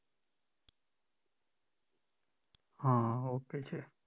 હા okay છે